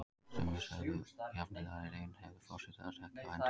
Sumir sögðu jafnvel að í raun hefði forseti það ekki á hendi.